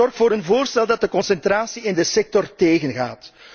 Zorg voor een voorstel dat de concentratie in de sector tegengaat.